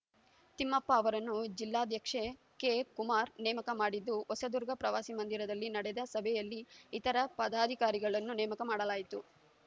ತಿಮ್ಮಪ್ಪ ಅವರನ್ನು ಜಿಲ್ಲಾಧ್ಯಕ್ಷ ಕೆ ಕುಮಾರ್‌ ನೇಮಕ ಮಾಡಿದ್ದು ಹೊಸದುರ್ಗ ಪ್ರವಾಸಿ ಮಂದಿರದಲ್ಲಿ ನಡೆದ ಸಭೆಯಲ್ಲಿ ಇತರ ಪದಾಧಿಕಾರಿಗಳನ್ನು ನೇಮಕ ಮಾಡಲಾಯಿತು